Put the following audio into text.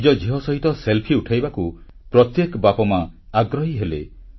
ନିଜ ଝିଅ ସହିତ Selfieର ଉଠାଇବାକୁ ପ୍ରତ୍ୟେକ ବାପାମା ଆଗ୍ରହୀ ହେଲେ